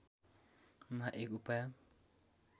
मा एक उपाय